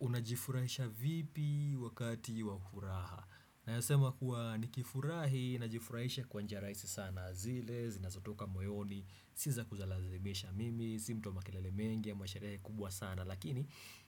Unajifurahisha vipi wakati wa furaha. Nayasema kuwa nikifurahi najifurahisha kwa njia raisi sana zile zinazotoka moyoni. Sii za kulazimisha, mimi si mtu wa makelele mengi ama sharehe kubwa sana, lakini